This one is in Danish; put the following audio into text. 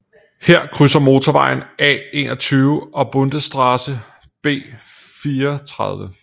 Her krydser motorvejen A21 og Bundesstraße B430